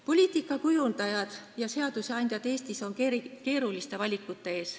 Poliitika kujundajad ja seadusandjad Eestis on keeruliste valikute ees.